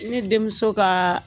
Ne denmuso kaa